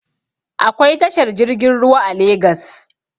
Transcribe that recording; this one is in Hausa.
Akwai tashar jirgin ruwa a legas